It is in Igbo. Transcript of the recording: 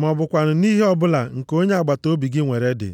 ma ọ bụkwanụ nʼihe ọbụla nke onye agbataobi gị nwere dị.”